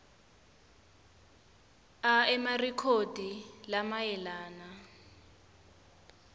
a emarekhodi lamayelana